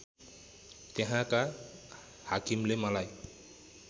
त्यहाँका हाकिमले मलाई